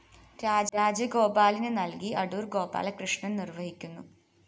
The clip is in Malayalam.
രാജോഗപാലിന് നല്‍കി അടൂര്‍ ഗോപാലകൃഷ്ണന്‍ നിര്‍വ്വഹിക്കുന്നു